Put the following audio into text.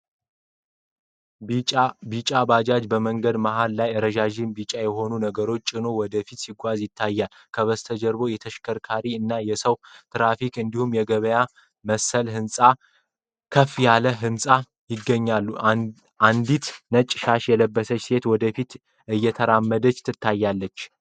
ቢጫ ባጃጅ በመንገድ መሃል ላይ ረዣዥም ቢጫ የሆኑ ነገሮችን ጭኖ ወደ ፊት ሲጓዝ ይታያል። ከበስተጀርባ የተሽከርካሪ እና የሰው ትራፊክ እንዲሁም የገበያ መሰል ህንጻዎችና ከፍ ያለ ህንፃ ይገኛል። አንዲት ነጭ ሻሽ የለበሰች ሴት ወደፊት እየተራመደች ትታያለች።